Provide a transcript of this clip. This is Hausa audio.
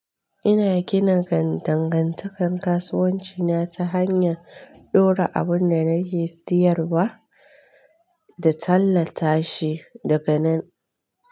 Ina gina dangantakan kasuwanci na ta hanyan ɗora abun da nake siyarwa da tallata shi daga nan.